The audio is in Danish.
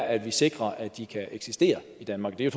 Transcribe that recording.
at vi sikrer at de kan eksistere i danmark det er